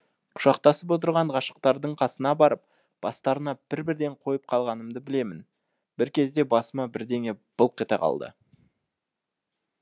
құшақтасып отырған ғашықтардың қасына барып бастарына бір бірден қойып қалғанымды білемін бір кезде басыма бірдеңе былқ ете қалды